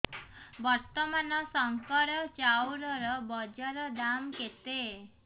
ବର୍ତ୍ତମାନ ଶଙ୍କର ଚାଉଳର ବଜାର ଦାମ୍ କେତେ